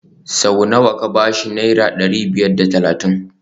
Sau nawa ka ba shi Naira dari biyar da talatin